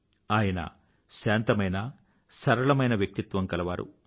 ఆయన శాంతమైన సరళమైన వ్యక్తిత్వం కలవారు